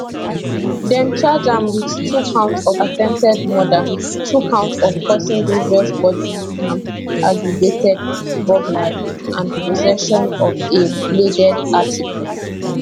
dem charge am wit two counts of attempted murder two counts of causing grievous bodily harm aggravated burglary and possession of a bladed article